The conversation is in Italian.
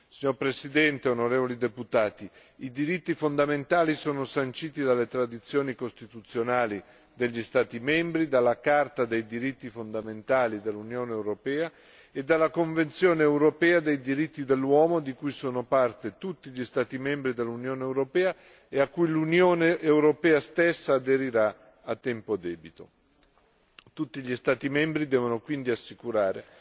Signora Presidente, onorevoli deputati, i diritti fondamentali degli Stati membri sono sanciti dalle tradizioni costituzionali degli Stati membri, dalla Carta dei diritti fondamentali dell'Unione europea e dalla Convenzione europea dei diritti dell'uomo, di cui sono parte tutti gli Stati membri dell'Unione europea e a cui l'Unione europea stessa aderirà a tempo debito. Tutti gli Stati membri devono pertanto garantire